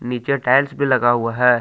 नीचे टाइल्स भी लगा हुआ है।